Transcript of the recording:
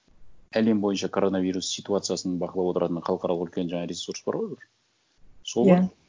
әлем бойынша коронавирус ситуациясын бақылап отыратын халықаралық үлкен жаңа ресурс барғой бір сол ма иә